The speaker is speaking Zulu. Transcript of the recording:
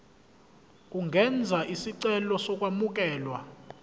ungenza isicelo sokwamukelwa